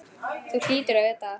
Þú hlýtur að vita það.